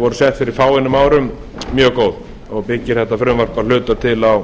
voru sett fyrir fáeinum árum mjög góð og byggir þetta frumvarp að hluta til á